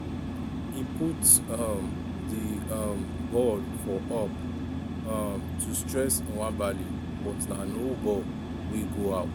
e for put um di um ball for up um to stress nwabali but na low ball wey go out.